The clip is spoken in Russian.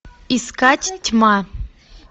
искать тьма